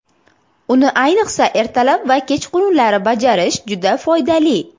Uni ayniqsa ertalab va kechqurunlari bajarish juda foydali.